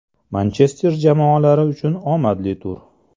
Manchester jamoalari uchun omadli tur.